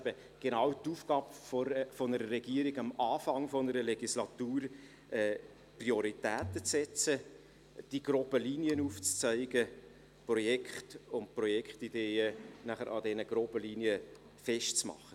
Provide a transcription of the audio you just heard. Es ist genau die Aufgabe der Regierung, zu Beginn einer Legislatur Prioritäten zu setzen, die groben Linien aufzuzeigen und Projekte und Projektideen danach an diesen groben Linien festzumachen.